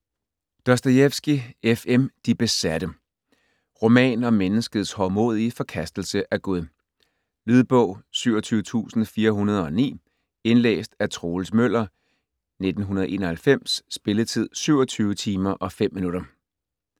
Dostojevskij, F. M.: De besatte Roman om menneskets hovmodige forkastelse af Gud. Lydbog 27409 Indlæst af Troels Møller, 1991. Spilletid: 27 timer, 5 minutter.